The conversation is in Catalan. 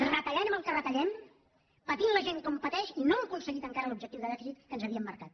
retallant en el que retallem patint la gent com pateix i no hem aconseguit encara l’objectiu de dèficit que ens havíem marcat